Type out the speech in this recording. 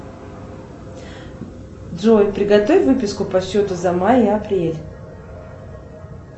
джой приготовь выписку по счету за май и апрель